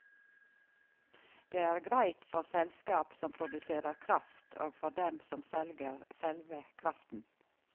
Det er greit for selskap som produserer kraft og for dem som selger selve kraften.